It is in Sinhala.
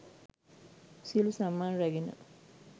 සියලු සම්මාන රැගෙන